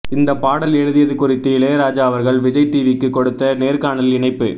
இந்தப் பாடல் எழுதியது குறித்து இளையராஜா அவர்கள் விஜய் டிவிக்கு கொடுத்த நேர்காணலின் இணைப்பு